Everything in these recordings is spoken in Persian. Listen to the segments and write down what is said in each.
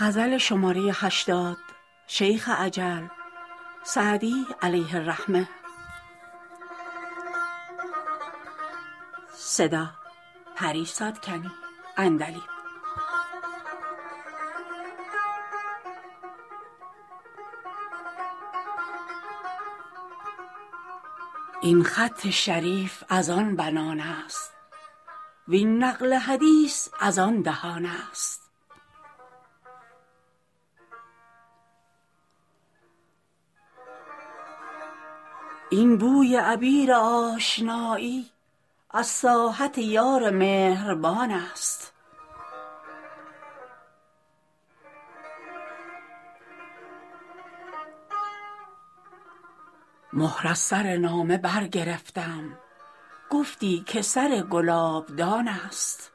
این خط شریف از آن بنان است وین نقل حدیث از آن دهان است این بوی عبیر آشنایی از ساحت یار مهربان است مهر از سر نامه برگرفتم گفتی که سر گلابدان است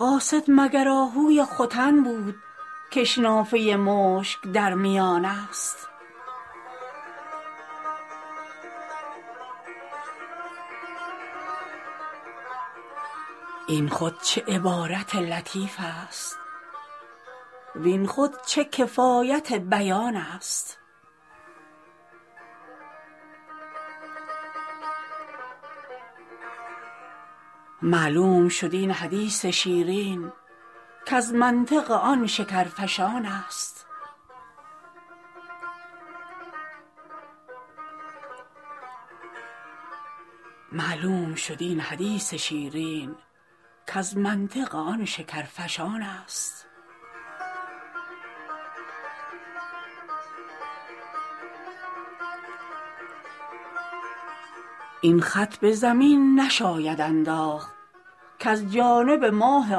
قاصد مگر آهوی ختن بود کش نافه مشک در میان است این خود چه عبارت لطیف است وین خود چه کفایت بیان است معلوم شد این حدیث شیرین کز منطق آن شکرفشان است این خط به زمین نشاید انداخت کز جانب ماه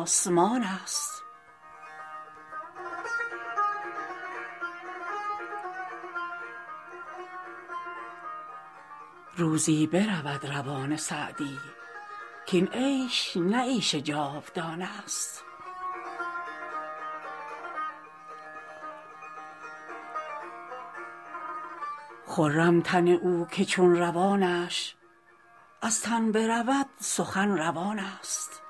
آسمان است روزی برود روان سعدی کاین عیش نه عیش جاودان است خرم تن او که چون روانش از تن برود سخن روان است